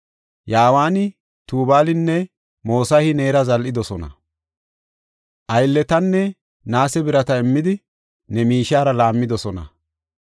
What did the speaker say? Yawaani, Tubaalinne Mosahi neera zal7idosona; aylletanne naase birata immidi, ne miishiyara laammidosona.